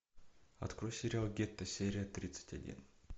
открой сериал гетто серия тридцать один